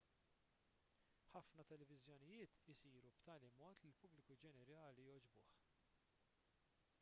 ħafna televiżjonijiet isiru b'tali mod li l-pubbliku ġenerali jogħġbuh